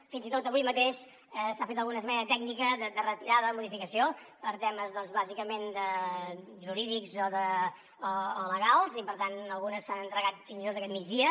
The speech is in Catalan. fins i tot avui mateix s’ha fet alguna esmena tècnica de retirada o modificació per temes doncs bàsicament jurídics o legals i per tant algunes s’han entregat fins i tot aquest migdia